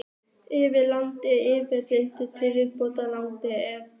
Eftir langa og erfiða yfirheyrslu til viðbótar langri og erf